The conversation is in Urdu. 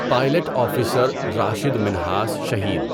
pilot officer Rashid Minhas Shaheed